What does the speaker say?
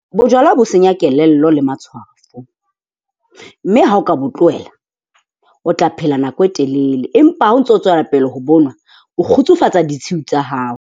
Bojwala bo senya kelello le matshwafo mme ha o ka bo tlohela, o tla phela nako e telele empa ha o ntso tswela pele ho bo nwa o kgutsufatsa ditshiu tsa hao.